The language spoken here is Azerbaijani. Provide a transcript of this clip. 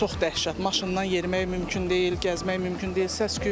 Çox dəhşət maşından yerimək mümkün deyil, gəzmək mümkün deyil.